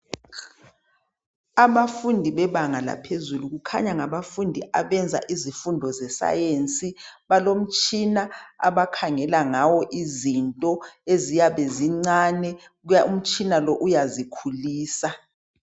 Abafundi bebanga laphezulu. Kukhanya ngabafundi abenza izifundo ze Science. Balomtshina abakhangela ngawo izinto eziyabe zincane umtshina lo uyazikhulisa.